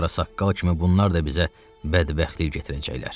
O kimə bunlar da bizə bədbəxtlik gətirəcəklər.